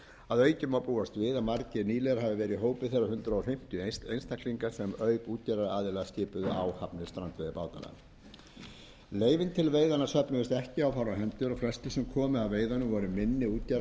að auki má búast við að margir nýliðar hafi verið í hópi þeirra hundrað fimmtíu einstaklinga sem auk útgerðaraðila skipuðu áhafnir strandveiðibátanna leyfin til veiðanna söfnuðust ekki á fárra hendur og flestir sem komu að veiðunum voru minni útgerðaraðilar